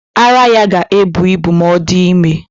Ara ya ga-ebu ibu ma ọ dị ime.